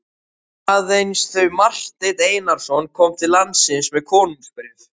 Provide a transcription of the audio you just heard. Aðeins þau að Marteinn Einarsson kom til landsins með konungsbréf.